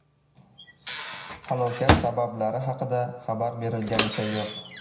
Halokat sabablari haqida xabar berilganicha yo‘q.